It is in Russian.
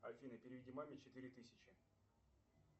афина переведи маме четыре тысячи